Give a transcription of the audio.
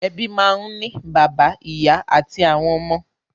Ẹbí máa ń ní bàbá, ìyá àti àwọn ọmọ.